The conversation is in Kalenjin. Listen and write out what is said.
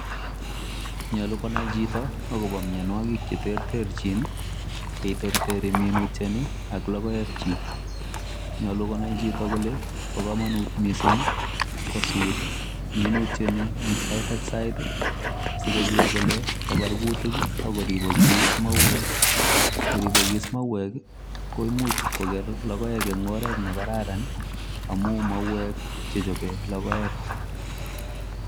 Nyolu konai chito akopo mienwokik cheterterchin cheiterteri minutioni ak logoekchi. Nyolu konai chito kole po komonut mising kosut minutieni eng sait ak sait asikoker kole kabar kutik akoripokis mauek. Yeripokis mauek ko imuch koker logoek eng oret nekararan amu mauek chechope logoek.